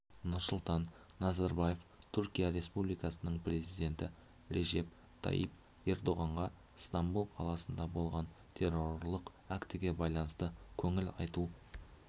нұрсұлтан назарбаев түркия республикасының президенті режеп тайип ердоғанға стамбул қаласында болған террорлық актіге байланысты көңіл айту